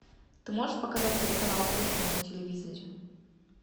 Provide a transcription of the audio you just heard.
ты можешь показать телеканал кухня на телевизоре